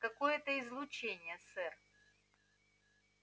какое-то излучение сэр